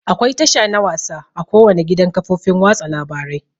Akwai tasha na wasa a ko wani gidan kafofin watsa labarai.